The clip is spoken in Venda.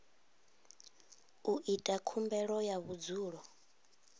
u ita khumbelo ya vhudzulo